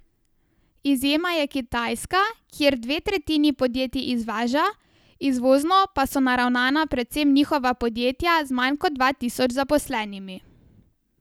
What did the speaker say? Izjema je Kitajska, kjer dve tretjini podjetij izvaža, izvozno pa so naravnana predvsem njihova podjetja z manj kot dva tisoč zaposlenimi.